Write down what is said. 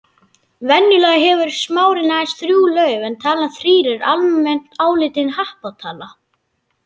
Venjulega hefur smárinn aðeins þrjú lauf en talan þrír er almennt álitin happatala.